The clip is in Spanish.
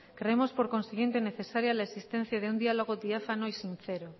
creemos por consiguiente necesaria la existencia de un diálogo diáfano y sincero